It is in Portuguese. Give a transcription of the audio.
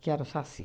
Que era o Saci.